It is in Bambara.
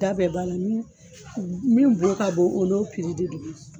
Da bɛɛ b'a la min bolo ka bon o no de bɛ di.